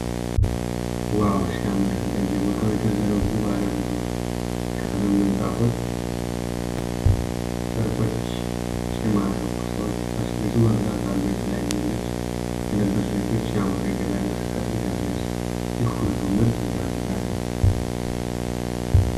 ዋው ሲያምር! በየቦታው የተዘረጉ ባለብዙ ቀለም ምንጣፎችና ጨርቆች ሲማርኩ! ሰዎች እቃ ሲገዙ በብዛት አሉ። የተለያየ ልብስ የለበሱ ሴቶች ሲያምሩ። የገበያ እንቅስቃሴው ሲያስደስት! ይህ ሁሉ ምርት ሲያስገርም!